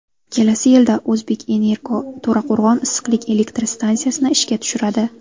Kelasi yilda ‘O‘zbekenergo‘ To‘raqo‘rg‘on issiqlik elektr stansiyasini ishga tushiradi.